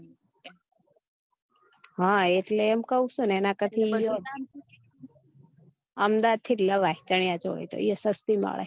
હ એટલે એમ કઉ છુ ને એના કરથી અમદાવાદ થી જ લવાય ત્યાં સસ્તી મળે